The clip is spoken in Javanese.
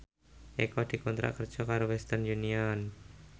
Eko dikontrak kerja karo Western Union